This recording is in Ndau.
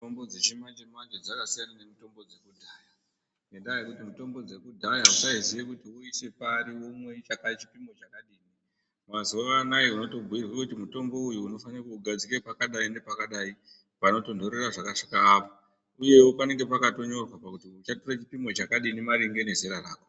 Mitombo dzechimanje-manje dzakasiyana nemitombo dzakudhaya ngendaa yekuti mitombo dzakudhaya vaisaiziye kuti voisa pari vomwe chipimo chakadini. Mazuva anaya ubotobhuirwe kuti mutombo uyu unofanire kuugadzika pakadai nepakadai panotonhorera zvakasvika apa, uyevo panenge pakatonyorwa kuti uchatora chipimo chakati chinemaringe nezera rako.